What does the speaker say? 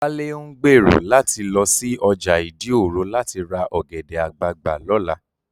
Wálé ń gbèrò láti lọ sí ọjà ìdí òro láti ra ọ̀gẹ̀dẹ̀ àgbagbà lọ́la